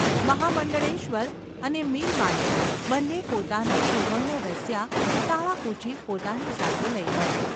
મહામંડળેશ્વર અને મિલમાલિક બન્ને પોતાનાં સુવર્ણ રસ્યાં તાળાંકૂંચી પોતાની સાથે લઈ ગયા.